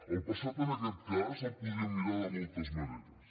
el passat en aquest cas el podríem mirar de moltes maneres